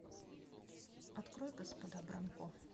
открой господа бронко